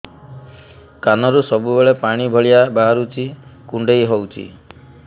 କାନରୁ ସବୁବେଳେ ପାଣି ଭଳିଆ ବାହାରୁଚି କୁଣ୍ଡେଇ ହଉଚି